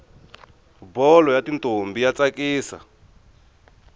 bholo yatintombi yatsakisa